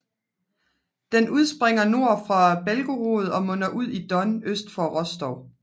Den udspringer nord for Belgorod og munder ud i Don øst for Rostov